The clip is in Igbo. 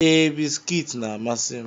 Ee, bisikiiti na-amasị m.